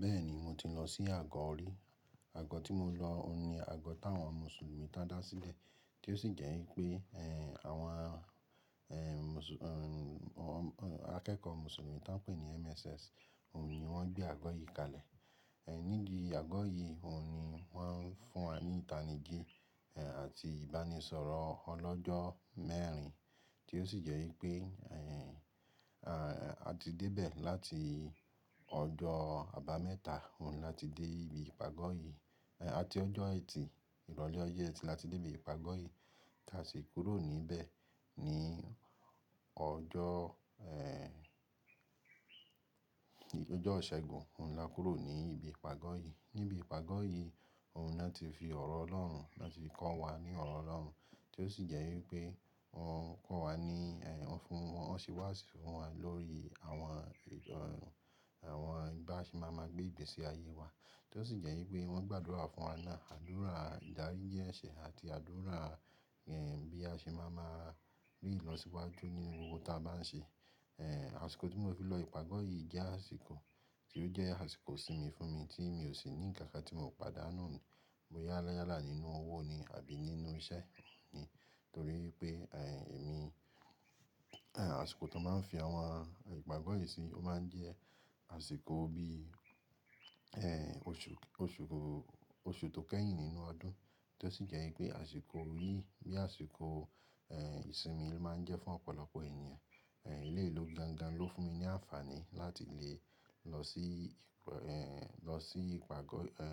Bẹ́ẹ̀ ni mo ti lọ sí àgọ́ rí. Àgọ́ tí mo lọ òun ni àgọ́ táwọn Mùsùlùmí tádá sílẹ̀ tí ó sì jẹ́ wípé, ẹ́ àwọn ẹ́ Mùsù-- ẹ́ akẹ́kọ̀ọ́ Mùsùlùmí tí wọ́n ń pè ní MSS, òun ni wọ́n gbé àgọ́ yìí kalẹ̀. Ẹ̀ nídi ìgbà àgọ́ yìí òun ni wọ́n ń fún wa ní ìtanijí, ẹ́ àti ìbánisọ̀rọ̀ ọlọ́jọ́ mẹ́rin tí ó sì jẹ́ wípé, ẹ́ àti dé ibẹ̀ láti ọjọ́ àbámẹ́ta, òun láti dé ibi ìpagọ́ yìí. A ti ọjọ́ Ẹtì, ìrọ̀lẹ́ ọjọ́ Ẹtì láti dé ibi ìpagọ́ yìí tí a sì kúrò níbẹ̀ ní ọjọ́ ẹ́ ì-- ọjọ́ Ọ̀ṣẹ̀gún, òun la kúrọ́ ní ibi ìpagọ́ yìí. Níbi ìpagọ́ yìí òun ni wọ́n ti fi ọ̀rọ̀ Ọlọ́run, wọ́n ti fi kọ́ wa ní ọ̀rọ̀ Ọlọ́run tí ó sì jẹ́ wípé wọ́n ń kọ́ wa ní-- ẹ́ fún wọ́n ṣe wáàsí fún wa lórí àwọn ẹ́ àwọn ìgbà tí a ṣe máa ma gbé ìgbésí ayé wa tí ó sì jẹ́ wípé wọ́n gbàdúrà fún wa náà, àdúrà ìdarí jí èsé àdúrà ẹ́ bí a ṣe máa ma rí ìlọsíwájú ní gbogbo tí a bá ń ṣe. Ẹ́ àsìkò tí mo fi lọ ìpagọ́ yìí jẹ́ àsìkò tí ó jẹ́ àsìkò ìsinmi fún mi tí mi ò sì ní ǹkan kan tí mo padà nà án. Boyá ni yálà nínú owó ni àbí nínú iṣẹ́ ni torí pé ẹ́ èmi, ẹ́ àsìkò tí wọ́n máa ń fi àwọn ìpagọ́ yìí sí, ó máa ń jẹ́ àsìkò bí ẹ́ oṣù, oṣù tó kẹ́yìn nínú ọdún tí ó sì jẹ́ wípé àsìkò yìí bí àsìkò ẹ́ ìsinmi ló máa ń jẹ́ fún ọ̀pọ̀lọpọ̀ ènìyàn. Ẹ̀ lé lú gangan ló fún mi ní àǹfààní láti lè lọ sí ìp-- ẹ́ lọ sí ìpagọ́ ẹ́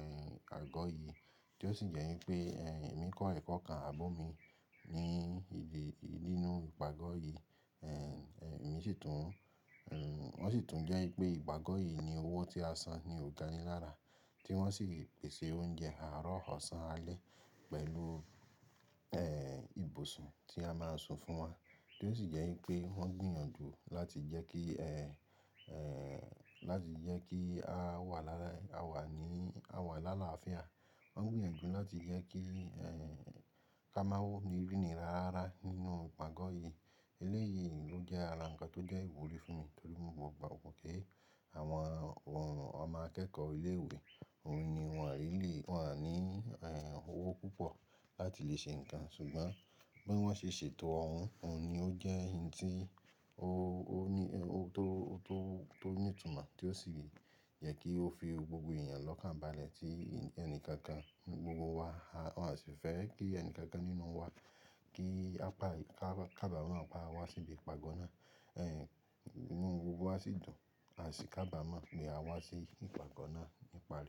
àgọ́ yìí tí ó sì jẹ́ wípé ẹ́ èmi kọ́ ẹ̀kọ́ kan àbọ̀ mi ní ìdí nínú ìpagọ́ yìí. Ẹ̀ èmi sì tún, ẹ́ wọ́n sì tún jẹ́ wípé ìpagọ́ yìí ní owó tí a san ni ò gan ni lára tí wọ́n sì pèsè oúnjẹ àárọ̀ ọ̀sán alẹ́ pẹ̀lú ẹ́ ìbòsùn tí a máa ń sun fún wọn tí ó sì jẹ́ wípé wọ́n gbìyànjú láti jẹ́ kí ẹ́, ẹ́ láti jẹ́ kí a wà lára-- a wà ní, a wà làlá fi àn. Wọ́n ń gbìyànjú láti jẹ́ kí ẹ́ ká máa wó ni ríni rara nínú ìpagọ́ yìí. Ilé yìí ló jẹ́ ará kan tó jẹ́ ìwúrí fún mi torí mo gbàgbọ́ pé àwọn ọmọ akẹ́kọ̀ọ́ ilé ìwé òun ni wọ́n àìní lè, wọ́n àìní ẹ́ owó púpọ̀ láti lè ṣe ǹkan ṣùgbọ́n bí wọ́n ṣe ṣètò ọ̀un, òun ni ó jẹ́ ẹni tí ó, ó ní, ó tó, tó, tó ní ìtumọ̀ tí ó sì yẹ kí ó fi gbogbo èyàn lọ́kàn bá lẹ̀ tí ẹni kankan gbogbo wa, a ò sì fẹ́ kí ẹni kankan nínú wa kí a pa, kába mọ́, pa wá sí ibi ìpagọ́ náà. Ẹ̀ inú gbogbo wa sì dùn àsi kába mọ́ ní a wá sí ìpagọ́ náà nípari.